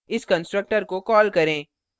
इस constructor को call करें